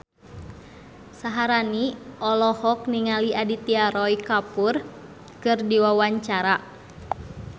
Syaharani olohok ningali Aditya Roy Kapoor keur diwawancara